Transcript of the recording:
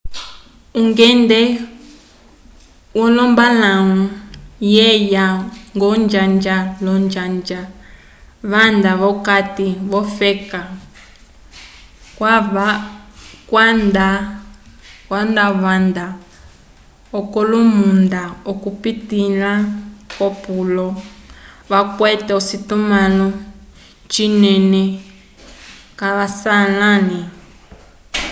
ungende wolombalãwu veyaya ñgo onjanja l'onjanja vanda v'okati k'ofeka kwava vanda k'olomunda okupitĩla ko polo vakwete ocitumãlo cinene caswalãli